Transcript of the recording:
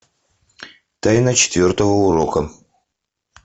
тайна четвертого урока